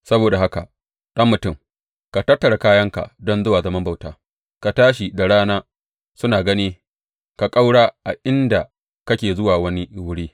Saboda haka ɗan mutum, ka tattara kayanka don zuwa zaman bauta, ka tashi da rana suna gani ka ƙaura a inda kake zuwa wani wuri.